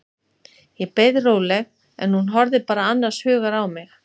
Ég beið róleg, en hún horfði bara annars hugar á mig.